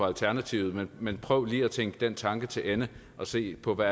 alternativet men men prøv lige at tænke den tanke til ende og se på hvad